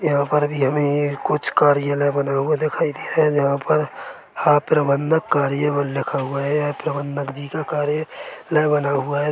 यहां पर भी हमे एक कुछ कार्यालय बना हुआ दिखाई दे रहा है जहां पर आप्रबंधक कार्यावल लिखा हुआ है ये प्रबंदक जी का कार्यलय बना हुआ है।